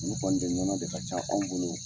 Nunnu u kɔni de nɔnɔ de ka ca anw bolo.